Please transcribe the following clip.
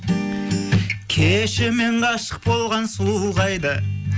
кеше мен ғашық болған сұлу қайда